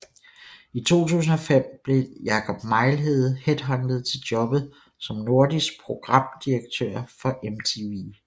I 2005 blev Jakob Mejlhede headhuntet til jobbet som Nordisk Programdirektør for MTV